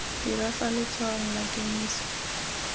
dira fa letshwaong la kemiso